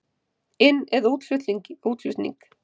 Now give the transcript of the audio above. Inn- eða útflutning?